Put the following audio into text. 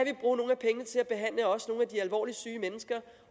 de alvorligt syge mennesker